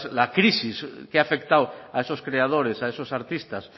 la crisis que ha afectado a esos creadores a esos artistas